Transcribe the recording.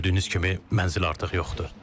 Gördüyünüz kimi, mənzil artıq yoxdur.